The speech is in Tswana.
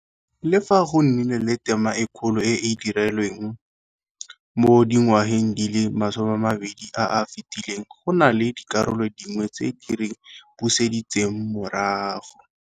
Le fa go nnile le tema e kgolo e e dirilweng mo dingwageng di le masomeamabedi a a fetileng, go na le dikarolo dingwe tse di re buseditseng morago.